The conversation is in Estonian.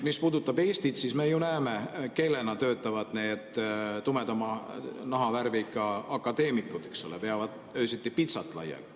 Mis puudutab Eestit, siis me ju näeme, kellena töötavad need tumedama nahavärviga akadeemikud, eks ole: veavad öösiti pitsat laiali.